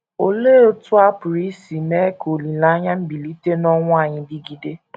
Olee otú a pụrụ isi mee ka olileanya mbilite n’ọnwụ anyị dịgide?